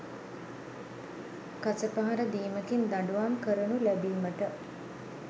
කසපහර දීමකින් දඬුවම් කරනු ලැබීමට